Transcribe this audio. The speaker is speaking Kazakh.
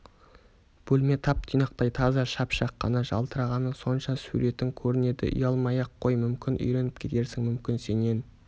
бөлме тап-тұйнақтай таза шап-шақ қана жалтырағаны сонша суретің көрінеді ұялмай-ақ қой мүмкін үйреніп кетерсің мүмкін сенен